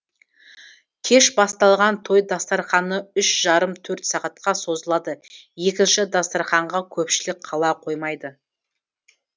кеш басталған той дастарқаны үш жарым төрт сағатқа созылады екінші дастарқанға көпшілік қала қоймайды